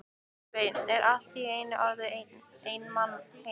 Svenni er allt í einu orðinn einn heima!